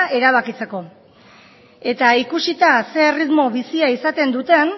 erabakitzeko eta ikusita ze erritmo bizia izaten duten